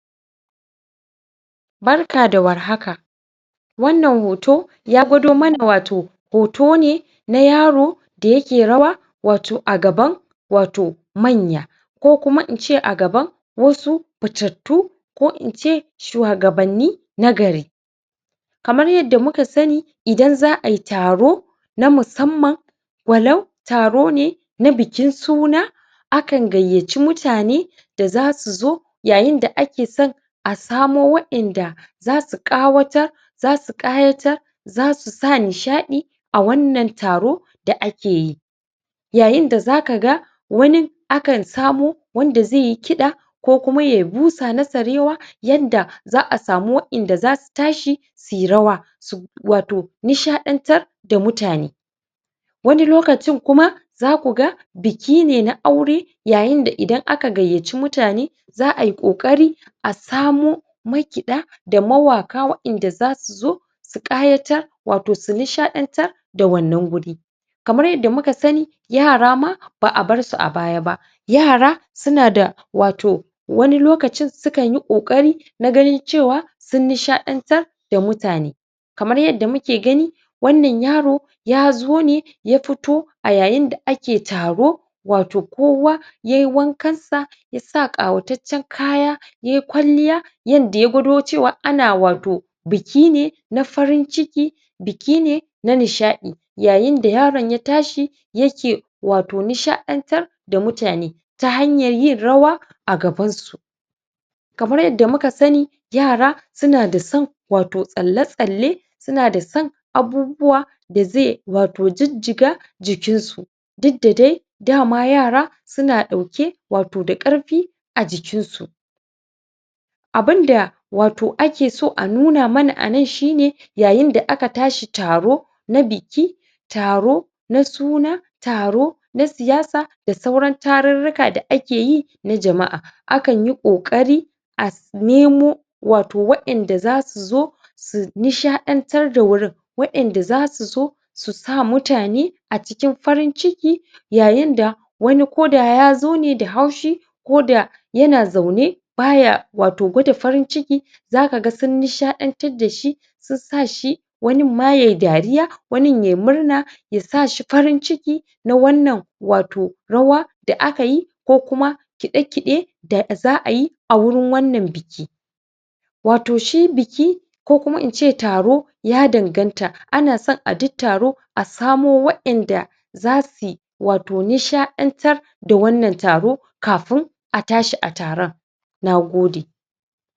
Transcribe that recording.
Barka da war haka! Wannan hoto ya gwado mana wato hoto ne na yaro da yake rawa wato a gaban wato manya ko kuma in a gaban wasu fitattu ko in ce shuwagabanni na gari. Kamar yadda muka sani, idan za ai taro na musamman, walau taro ne na bikin suna akan gayyaci mutane da za su zo yayin da ake son a samo waƴanda za su ƙawatar, za su ƙayatar za su sa nishaɗi a wannan taro da ake yi. Yayin da za ka ga wanin akan samo wanda zai yi kiɗa ko kuma ya yi busa na sarewa yanda za a samu wayanda za su tashi su yi rawa wato nishaɗantar da mutane. Wani lokacin kuma za ku ga biki na aure yayin da idan aka gayyaci mutane za ai ƙoƙari a samo makiɗa da mawaƙa inda za su zo su ƙayatar wato su nishaɗantar da wannan wuri. Kamar yadda muka sani, yara ma ba a bar su a baya ba. Yara suna da wato wani lokacin sukan yi ƙoƙari na ganin cewa sun nishaɗantar da mutane. Kamar yadda muke gani, wannan yaro ya zo ne ya fito a yayin da ake taro wato kowa yai wankansa ya ƙawataccen kaya, yai kwalliya yanda ya gwado cewa ana wato biki ne na farin ciki, biki ne na nishaɗi yayin da yaron ya tashi, yake wato nishaɗantar da mutane. Ta hanyar yin rawa a gabansu. Kamar yadda muka sani, yara suna da son wato tsalle-tsalle, suna da son abubuwa da zai wato jijjiga jikinsu. Duk da dai da ma yara suna ɗauke wato da ƙarfi a jikinsu. Abin da wato ake so a nuna mana a nan shi ne yayin da aka tashi taro na biki taro na suna, taro na siyasa da sauran tarurruka da ake yi na jama'a akan yi ƙoƙari a nemo wato waƴanda za su zo su nishaɗantar da wurin; waƴanda za su zo su sa mutane a cikin farin ciki yayin da wani koda ya zo ne da haushi koda yana zaune ba ya wato gwada farin ciki za ka ga sun nishaɗantar da shi, sun sa shi wanin ma yai dariya, wanin yai murna, ya sa shi farin ciki na wannan wato rawa da aka yi ko kuma kiɗe-kiɗe da za a yi a wurin wannan biki. Wato shi biki ko kuma in ce taro ya danganta: ana son a duk taro a samo waƴanda za su wato nishaɗantar da wannan taro kafin a tashi a taron. Na gode.